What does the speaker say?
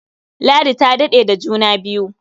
Ladi ta daɗe da juna biyu.